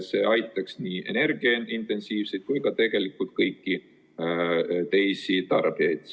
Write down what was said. See aitaks nii energiaintensiivseid kui ka tegelikult kõiki teisi tarbijaid.